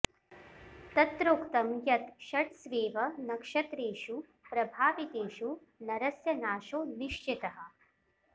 तत्रोक्तं यत् षट्स्वेव नक्षत्रेषु प्रभावितेषु नरस्य नाशो निश्चितः